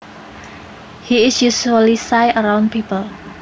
He is usually shy around people